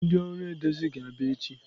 Ndị ọrụ edezi ga-abịa echi.